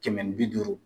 Kɛmɛ ni bi duuru